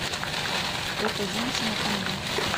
эта женщина ко мне